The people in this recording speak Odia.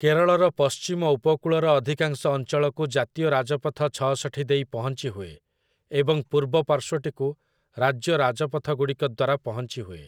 କେରଳର ପଶ୍ଚିମ ଉପକୂଳର ଅଧିକାଂଶ ଅଞ୍ଚଳକୁ ଜାତୀୟ ରାଜପଥ ଛଅଷଠି ଦେଇ ପହଞ୍ଚିହୁଏ ଏବଂ ପୂର୍ବ ପାର୍ଶ୍ୱଟିକୁ ରାଜ୍ୟ ରାଜପଥଗୁଡ଼ିକ ଦ୍ୱାରା ପହଞ୍ଚିହୁଏ ।